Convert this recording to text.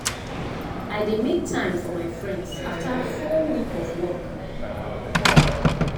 i dey make time for my friends after full week of work.